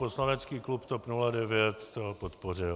Poslanecký klub TOP 09 to podpořil.